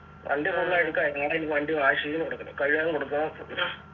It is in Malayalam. വണ്ടി full അഴുക്കായി നാളെ ഇനി വണ്ടി wash ചെയ്തു കൊടുക്കണം കഴുകാൻ കൊണ്ടുക്കണം